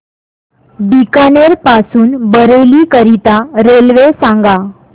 बीकानेर पासून बरेली करीता रेल्वे सांगा